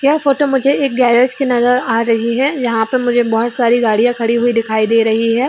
यह फ़ोटो मुझे एक गरेज की नजर आ रही है यहाँ पे मुझे बहुत सारी गड़िया दिखाई दे रही है।